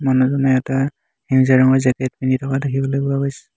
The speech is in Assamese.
মানুহজনে এটা সেউজীয়া ৰঙৰ জেকেত পিন্ধি থকা দেখিবলৈ পোৱা গৈছে।